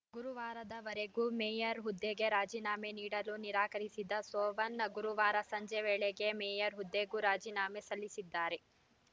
ಗುರುವಾರದವರೆಗೂ mayor ಹುದ್ದೆಗೆ ರಾಜೀನಾಮೆ ನೀಡಲು ನಿರಾಕರಿಸಿದ್ದ ಸೋವನ್‌ ಗುರುವಾರ ಸಂಜೆ ವೇಳೆಗೆ ಮೇಯರ್‌ ಹುದ್ದೆಗೂ ರಾಜೀನಾಮೆ ಸಲ್ಲಿಸಿದ್ದಾರೆ